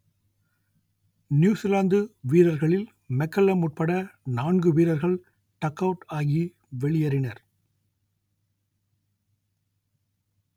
New Zealand வீரர்களில் McCullum உட்பட நான்கு வீரர்கள் டக் அவுட் ஆகி வெளியேறினர்